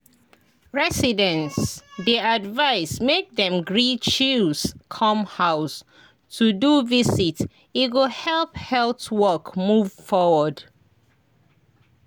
residents dey advised make dem gree chws come house to do visit e go help health work move forward.